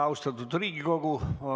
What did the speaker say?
Austatud Riigikogu!